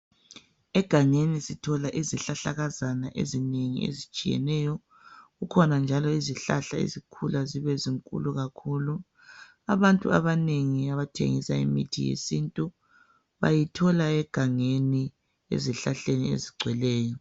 Egangeni sithola izihlahlakazana ezinengi ezitshiyeneyo. Kukhona njalo izihlahla ezikhula zibezinkulu kakhulu .Abantu abanengi abathengisa imithi yesintu bayithola egangeni ezihlahleni ezigcweleyo .